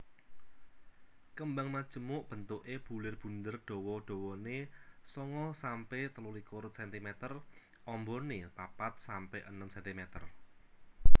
Kembang majemuk bentuké bulir bunder dawa dawané sanga sampe telulikur cm ambané papat sampe enem cm